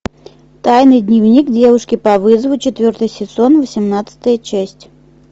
тайный дневник девушки по вызову четвертый сезон восемнадцатая часть